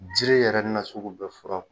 Jiri yɛrɛ na sugu bɛ fɔra.